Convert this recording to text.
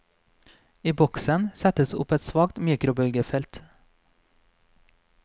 I boksen settes opp et svakt mikrobølgefelt.